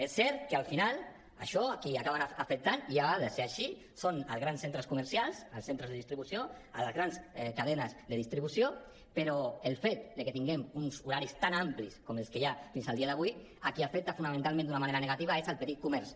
és cert que al final això a qui acaba afectant i ha de ser així són als grans centres comercials als centres de distribució a les grans cadenes de distribució però el fet que tinguem uns horaris tan amplis com els que hi ha fins al dia d’avui a qui afecta fonamentalment d’una manera negativa és al petit comerç